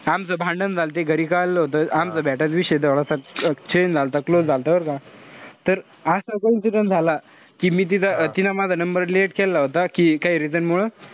आमचं भांडण झालते घरी कळालं होत. आमचं matter विषय तेवढा change झालता, close झालत बरं का. तर असा coincidence झाला कि मी तिथं तिनं माझा number delete केला होता. कि काई reason मूळ.